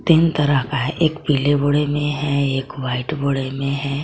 तीन तरह का है एक पीले बोर में है एक वाइट बोर में है।